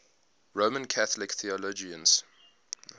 roman catholic theologians